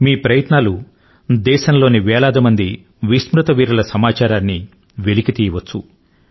మీ ప్రయత్నాలు దేశంలోని వేలాది మంది విస్మృత వీరుల సమాచారాన్ని వెలికి తీయవచ్చు